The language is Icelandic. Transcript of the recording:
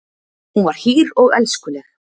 Hún var hýr og elskuleg.